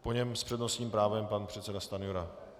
Po něm s přednostním právem pan předseda Stanjura.